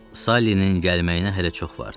Sallinin gəlməyinə hələ çox vardı.